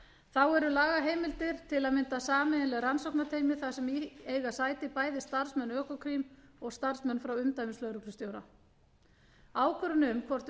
þá eru lagaheimildir til að mynda sameiginleg rannsóknarteymi þar sem í eiga sæti bæði starfsmenn økokrim og starfsmenn frá umdæmislögreglustjóra ákvörðun um hvort